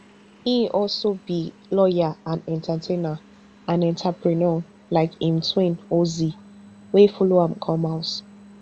e also be lawyer and entertainer and entrepreneur like im twin ozee wey follow am come house